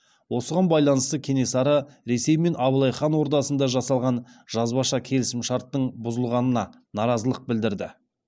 осыған байланысты кенесары ресей мен абылай хан ордасында жасалған жазбаша келісімшарттың бұзылғанына наразылық білдірді